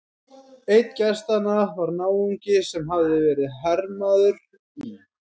Einn gestanna var náungi sem hafði verið hermaður í